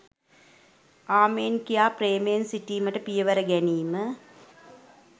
ආමෙන් කියා ප්‍රේමයෙන් සිටීමට පියවර ගැනීම